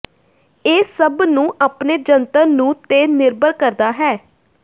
ਇਹ ਸਭ ਨੂੰ ਆਪਣੇ ਜੰਤਰ ਨੂੰ ਤੇ ਨਿਰਭਰ ਕਰਦਾ ਹੈ